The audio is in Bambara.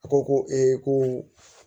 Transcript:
A ko ko ee ko